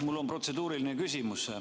Mul on protseduuriline küsimus.